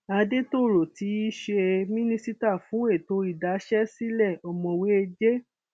àdètòrò tí í ṣe mínísítà fún ètò ìdáṣẹsílẹ ọmọwé j